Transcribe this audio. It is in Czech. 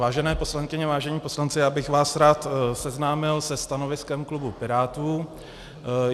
Vážené poslankyně, vážení poslanci, já bych vás rád seznámil se stanoviskem klubu Pirátů.